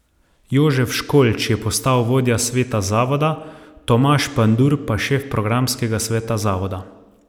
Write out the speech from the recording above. Jožef Školč je postal vodja sveta zavoda, Tomaž Pandur pa šef programskega sveta zavoda.